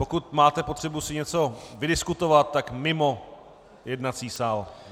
Pokud máte potřebu si něco vydiskutovat, tak mimo jednací sál.